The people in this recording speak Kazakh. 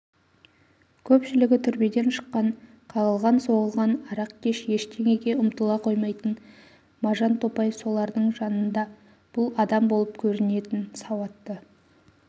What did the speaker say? көпшілігі түрмеден шыққан қағылған-соғылған арақкеш ештеңеге ұмтыла қоймайтын можантопай солардың жанында бұл адам болып көрінетін сауатты